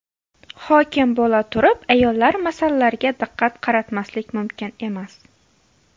Hokim bo‘laturib ayollar masalalariga diqqat qaratmaslik mumkin emas.